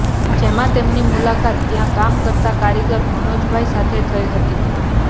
જેમાં તેમની મુલાકાત ત્યા કામ કરતા કારીગર મનોજભાઈ સાથે થઈ હતી